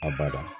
A bada